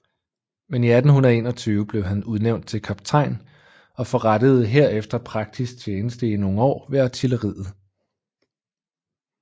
Men i 1821 blev han udnævnt til kaptajn og forrettede herefter praktisk tjeneste i nogle år ved artilleriet